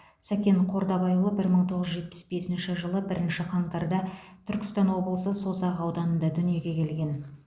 сәкен қордабайұлы бір мың тоғыз жүз жетпіс бесінші жылы бірінші қаңтарда түркістан облысы созақ ауданында дүниеге келген